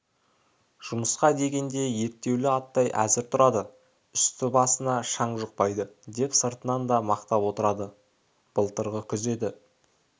жұмысқа дегенде ерттеулі аттай әзір тұрады үсті-басына шаң жұқпайды деп сыртынан да мақтап отырады былтырғы күз еді